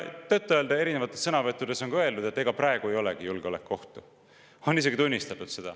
Tõtt-öelda, erinevates sõnavõttudes on ka öeldud, et ega praegu ei olegi julgeolekuohtu, seda on isegi tunnistatud.